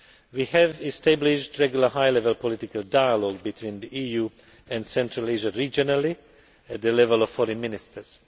We have established regular high level political dialogue between the EU and Central Asia regionally, at the level of foreign ministers.